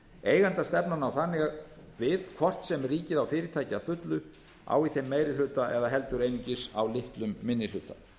eigendastefnan á þannig við hvort sem ríkið á fyrirtæki að fullu á í þeim meiri hluta eða heldur einungis á litlum minni hluta